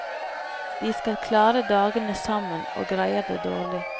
De skal klare dagene sammen og greier det dårlig.